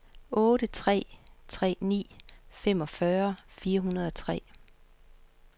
otte tre tre ni femogfyrre fire hundrede og tre